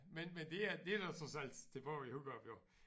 Men men det er det der trods alt tilbage i Hurup jo